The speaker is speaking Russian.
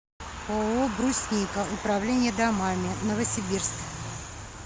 ооо брусника управление домами новосибирск